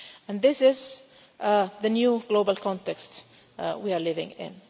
And this is the new global context we are living in.